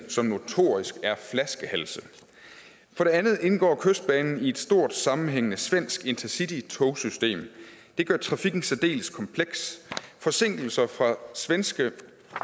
som notorisk er flaskehalse for det andet indgår kystbanen i et stort sammenhængende svensk intercitytogsystem det gør trafikken særdeles kompleks forsinkelser fra svenske